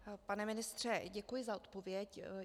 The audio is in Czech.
Pane ministře, děkuji za odpověď.